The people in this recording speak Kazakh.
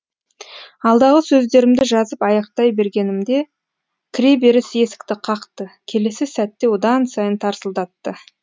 алдағы сөздерімді жазып аяқтай бергенімде кіреберіс есікті қақты келесі сәтте одан сайын тарсылдатты